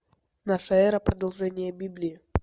наша эра продолжение библии